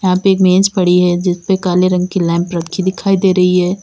यहां पे एक मेज पड़ी है जिसपे काले रंग की लैंप रखी दिखाई दे रही है।